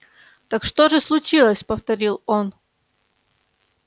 так что же случилось повторил он